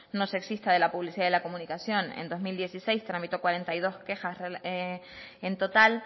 no sexista de la publicidad y la comunicación en dos mil dieciséis tramitó cuarenta y dos quejar en total